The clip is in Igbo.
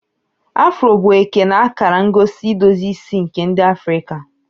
Afro bụ eke na akara ngosi idozi isi nke ndi Afrika.